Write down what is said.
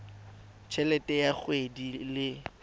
t helete ya kgwedi le